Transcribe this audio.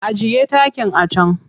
Ajiye takin a can!